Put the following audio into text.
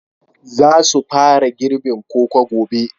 Za su fara girbin koko gobe